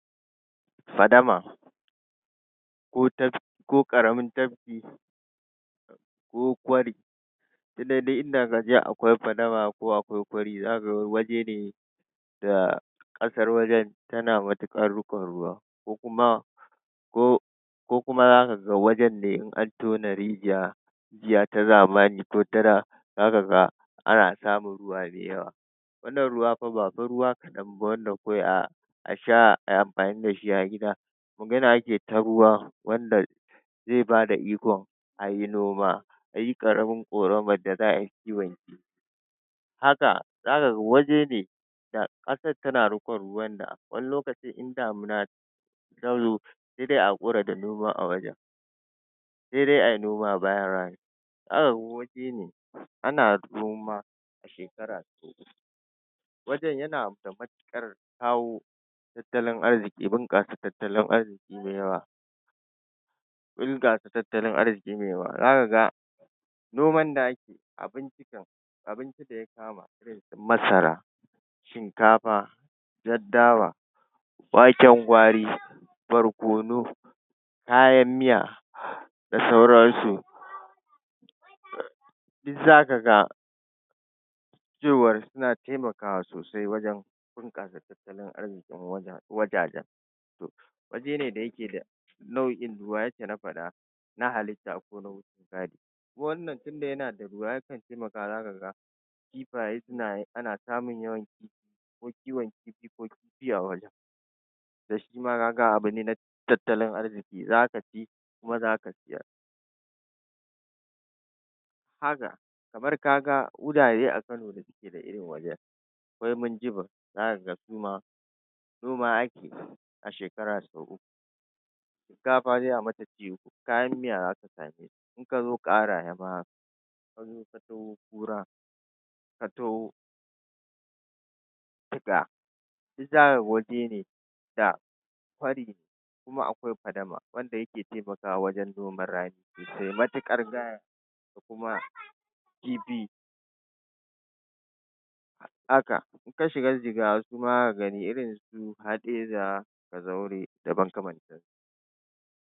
Fadama ko taf ko ƙaramin tafki ko kwari duk dai dai inda kaga dai akwai fadama ko akwai kwari zaka ga waje ne da ƙasar wajen tana matuƙar riƙon ruwa kokuma ko kokuma zakaga wajen ne in an tona rijiya rijiya ta zamani ko ta da zaka ga ana samun ruwa mai yawa wannan ruwa fa ba fa ruwa kaɗan ba wanda kawai a asha ayi anfani dashi a gida magana ake ta ruwa wanda zai bada ikon ayi noma, ayi ƙaramar ƙoramar da za’ayi kiwon kifi haka zaka ga wajene da ƙasar tana rikon ruwan da wani lokacin in damina tazo sai dai a hakura da noma a wajen. sai dai ayi noma bayan rani. Zaka ga wajene ana noma shekara wajen yana da matuƙar kawo tattalin arziƙi bunƙasa tattalin arziƙi mai yawa yawa bunƙasa tattalin arziƙi mai yawa zakaga noman da ake abinci kam abinci da ya kama daga da masara, shinkafa, jar dawa, waken gwari, barkono, kayan miya da sauransu duk zaka ga cewar suna taimakawa sosai wajen bunƙasa tattalin arziƙin wajen wajajen to wajene da yake da nau’in ruwa yadda na faɗa na halitta ko na wucin gadi shi wannan tunda yana da ruwa, yakan taimaka zakaga kifaye suna suna ana samun yawan kiwon kifi ko kifi a wurin to shima kaga abu ne na tattalin arziki zaka ci kuma zaka siyar haka kamar kaga wurare a kano da ke da irin wajen, akwai minjibir zakaga su ma noma ake a shekara sau uku shinakafa sai a mata ci uku kayan miya zaka samu in kazo ƙaraye ma haka kura, ka taho daga duk zaka ga wajene da wani kuma akwai fadama wanda yake taimakawa wajen noman rani sosai matuƙar gaya da kuma kifi haka inka shiga jigawa ma irinsu haɗeja kazaure da makamantan su.